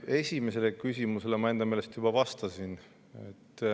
Esimesele küsimusele ma enda meelest juba vastasin.